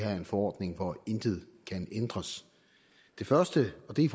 er en forordning hvor intet kan ændres det første og det er